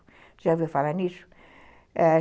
Você já ouviu falar nisso? ãh